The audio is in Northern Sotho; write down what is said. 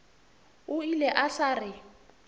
o ile a sa re